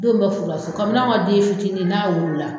Denw bɛ furu la so kabi n'an ka den fitini n'a wolola